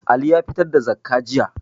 Ali ya fitar da zakkah jiya